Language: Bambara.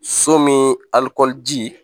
So min alikɔri ji